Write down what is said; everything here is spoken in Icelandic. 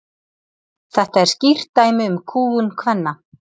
þetta er skýrt dæmi um kúgun kvenna